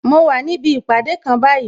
Mo wà níbi ìpàdé kan báyìí